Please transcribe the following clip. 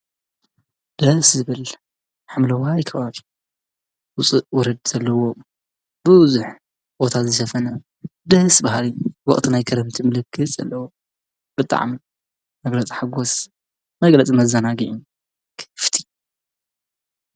ደስ ዝበል ሓምለዋይ ከባቢ ውፅእ ውርድ ዘለዎ ቡዙሕ ቦታ ዝሸፈነ ደስ ብሃሊ ወቅቲ ናይ ክረምቲ ምልክት ዘለዎ ብጣዕሚ መግለፂ ሓጎስ መግለፂ መዘናግዒ።